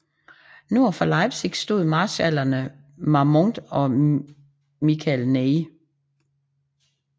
Nord for Leipzig stod marskallerne Marmont og Michel Ney